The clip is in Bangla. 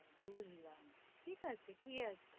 বুঝলাম, ঠিক আছে, কি আর,